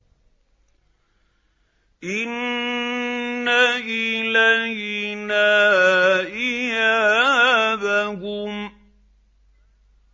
إِنَّ إِلَيْنَا إِيَابَهُمْ